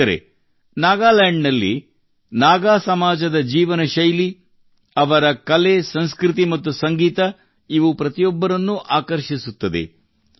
ಸ್ನೇಹಿತರೆ ನಾಗಾಲ್ಯಾಂಡ್ ನಲ್ಲಿ ನಾಗಾ ಸಮಾಜದ ಜೀವನಶೈಲಿ ಅವರ ಕಲೆಸಂಸ್ಕೃತಿ ಮತ್ತು ಸಂಗೀತ ಇವು ಪ್ರತಿಯೊಬ್ಬರನ್ನೂ ಆಕರ್ಷಿಸುತ್ತದೆ